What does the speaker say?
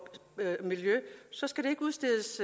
miljø skal der ikke udstedes